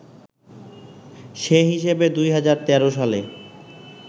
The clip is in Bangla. সে হিসেবে ২০১৩ সালে